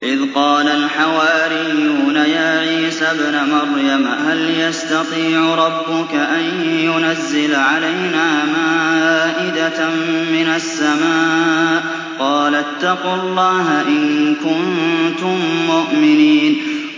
إِذْ قَالَ الْحَوَارِيُّونَ يَا عِيسَى ابْنَ مَرْيَمَ هَلْ يَسْتَطِيعُ رَبُّكَ أَن يُنَزِّلَ عَلَيْنَا مَائِدَةً مِّنَ السَّمَاءِ ۖ قَالَ اتَّقُوا اللَّهَ إِن كُنتُم مُّؤْمِنِينَ